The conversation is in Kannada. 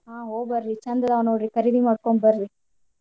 ಹ ಹೋ ಬರ್ರಿ ಚಂದ್ ಅದಾವ್ ನೋಡ್ರಿ ಖರೀದಿ ಮಾಡ್ಕೊಂಡ್ ಬರ್ರೀ.